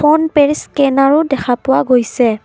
ফোনপেৰ স্কেনাৰও দেখা পোৱা গৈছে।